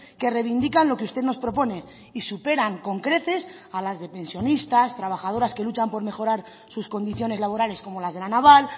que reivindican lo que usted nos propone y superan con creces a las de pensionistas trabajadoras que luchan por mejorar sus condiciones laborales como las de la naval